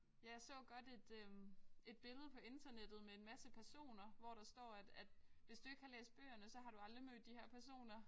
Ja jeg så godt et øh et billede på internettet med en masse personer hvor der står at at hvis du ikke har læst bøgerne så har du aldrig mødt de her personer